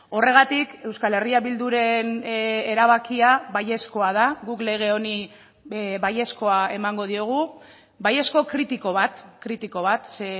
horregatik euskal herria bilduren erabakia baiezkoa da guk lege honi baiezkoa emango diogu baiezko kritiko bat kritiko bat ze